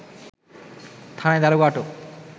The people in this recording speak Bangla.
থানায় দারোগা আটক